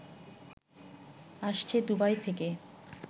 আসছে দুবাই থেকে